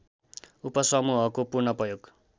उपसमूहको पुनःप्रयोग